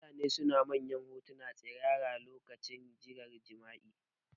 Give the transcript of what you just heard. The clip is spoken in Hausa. Mutane suna musanyar hotuna tsirara lokacin hirar jima'i